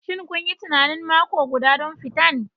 Shin kun yi tunanin mako guda don fitan?